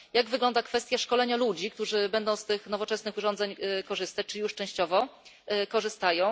Jak wygląda kwestia szkolenia ludzi, którzy będą z tych nowoczesnych urządzeń korzystać lub już częściowo korzystają?